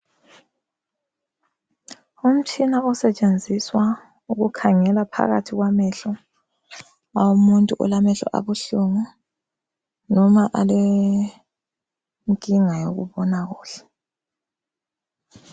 Umtshina osetshenziswa ukukhangela phakathi kwamehlo womuntu olamehlo abuhlungu noma alenkinga yokubona kuhle.